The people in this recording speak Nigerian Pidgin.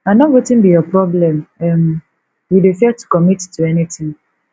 i no wetin be your problem um you dey fear to commit to anything